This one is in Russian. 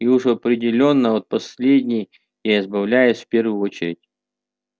и уж определённо от последней я избавляюсь в первую очередь